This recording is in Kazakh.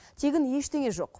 тегін ештеңе жоқ